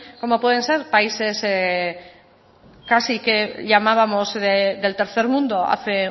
como pueden ser países casi que llamábamos del tercer mundo hace